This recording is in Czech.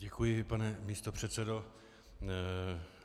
Děkuji, pane místopředsedo.